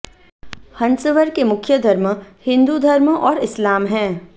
हंसवर के मुख्य धर्म हिंदू धर्म और इस्लाम है